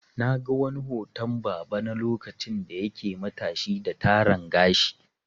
Na ga wani hoton baba na lokacin da yake matashi da Taran gashi.